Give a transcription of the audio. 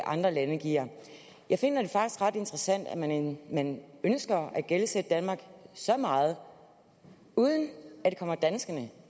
andre lande giver jeg finder det faktisk ret interessant at man man ønsker at gældsætte danmark så meget uden at det kommer danskerne